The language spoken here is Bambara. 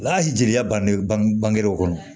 Ala jeliya bange ban bangew kɔnɔ